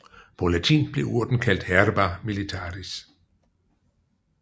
På latin blev urten kaldt herba militaris